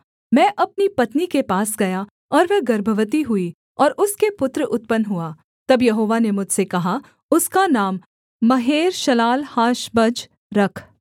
मैं अपनी पत्नी के पास गया और वह गर्भवती हुई और उसके पुत्र उत्पन्न हुआ तब यहोवा ने मुझसे कहा उसका नाम महेर्शालाल्हाशबज रख